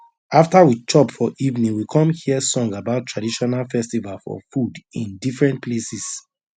after we chop for evening we come hear song about traditional festival for food in different places